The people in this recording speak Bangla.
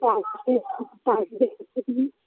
তা আসবে আসবে তুমি